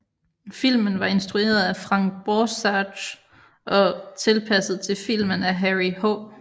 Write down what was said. Filmen var instrueret af Frank Borzage og tilpasset til film af Harry H